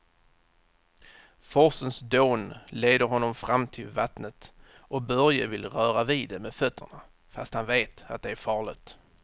Forsens dån leder honom fram till vattnet och Börje vill röra vid det med fötterna, fast han vet att det är farligt.